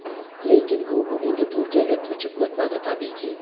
Lekin u bugungi Turkiyaga ko‘chib o‘tmadi tabiiyki.